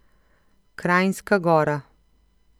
Kranjska Gora.